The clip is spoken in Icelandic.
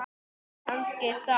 Kannski þá.